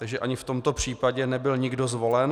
Takže ani v tomto případě nebyl nikdo zvolen.